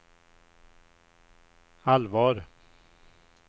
allvar